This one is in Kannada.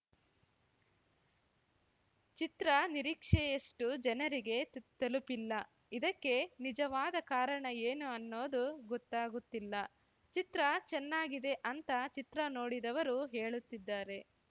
ಚಿತ್ರ ನಿರೀಕ್ಷೆಯಷ್ಟುಜನರಿಗೆ ತಲುಪಿಲ್ಲ ಇದಕ್ಕೆ ನಿಜವಾದ ಕಾರಣ ಏನು ಅನ್ನೋದು ಗೊತ್ತಾಗುತ್ತಿಲ್ಲ ಚಿತ್ರ ಚೆನ್ನಾಗಿದೆ ಅಂತ ಚಿತ್ರ ನೋಡಿದವರು ಹೇಳುತ್ತಿದ್ದಾರೆ